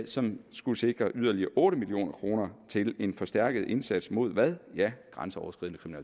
som skal sikre yderligere otte million kroner til en forstærket indsats mod hvad grænseoverskridende